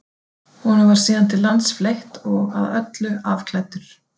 Honum var síðan til lands fleytt og að öllu afklæddur.